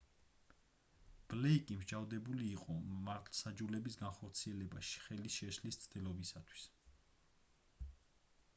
ბლეიკი მსჯავრდებული იყო მართლმსაჯულების განხორციელებაში ხელის შეშლის მცდელობისთვისაც